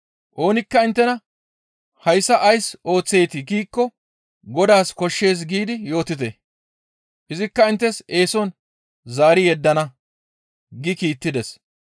Oonikka inttena, ‹Hayssa ays ooththeetii?› giikko Godaas koshshees giidi yootite; izikka inttes eeson zaari yeddana» gi kiittides.